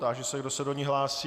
Táži se, kdo se do ní hlásí.